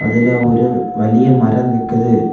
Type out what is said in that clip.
அதுல ஒரு வளிய மரம் நிக்குது.